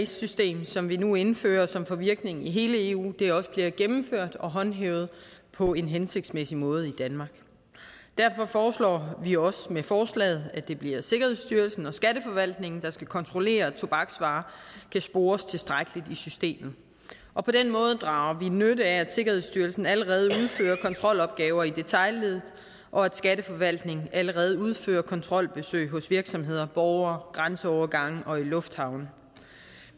system som vi nu indfører og som får virkning i hele eu også bliver gennemført og håndhævet på en hensigtsmæssig måde i danmark derfor foreslår vi også med forslaget at det bliver sikkerhedsstyrelsen og skatteforvaltningen der skal kontrollere at tobaksvarer kan spores tilstrækkeligt i systemet og på den måde drager vi nytte af at sikkerhedsstyrelsen allerede udfører kontrolopgaver i detailleddet og at skatteforvaltningen allerede udfører kontrolbesøg hos virksomheder borgere ved grænseovergange og i lufthavne